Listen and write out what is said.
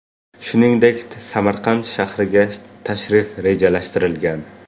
Shuningdek, Samarqand shahriga tashrif rejalashtirilgan.